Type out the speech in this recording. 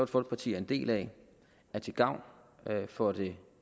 folkeparti er en del af er til gavn for det